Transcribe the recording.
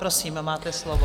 Prosím, máte slovo.